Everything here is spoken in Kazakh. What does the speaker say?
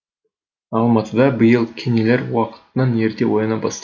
алматыда биыл кенелер уақытынан ерте ояна бастады